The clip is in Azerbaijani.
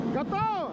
Hazırdır!